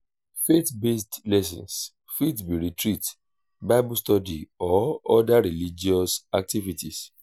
faith based lessons fit be retreat bible study or oda religious activities